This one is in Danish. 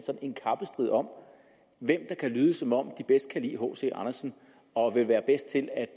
en kappestrid om hvem der kan lyde som om de bedst kan lide hc andersen og vil være bedst til at